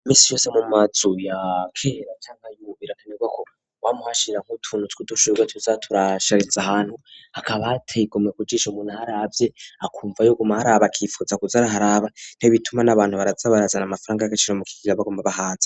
Imisi yose mu mazu yakera cangwa yubu birakenerwa ko wama uhashira utuntu twu dushurwe tuzaturashariza ahantu hakaba hateye igomwe kujisha umuntu aharavye akumva yo guma aharaba akifuza kuza araharaba nibituma n'abantu baraza barazana amafaranga y'agaciro mu kigega bagomba bahaza.